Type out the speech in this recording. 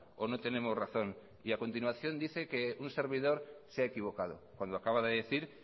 o no tenemos razón y a continuación dice que un servidor se ha equivocado cuando acaba de decir